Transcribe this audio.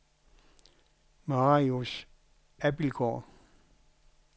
Marius Abildgaard